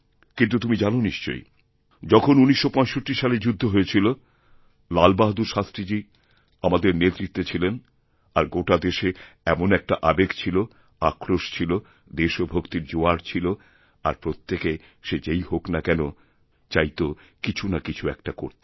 কিন্তু তুমি জানো নিশ্চয়ইযখন ১৯৬৫ সালের যুদ্ধ হয়েছিল লাল বাহাদুর শাস্ত্রীজী আমাদের নেতৃত্বে ছিলেন আরগোটা দেশে এমন একটা আবেগ ছিল আক্রোশ ছিল দেশভক্তির জোয়ার ছিল আর প্রত্যেকে সে যেইহোক না কেন চাইত কিছু না কিছু একটা করতে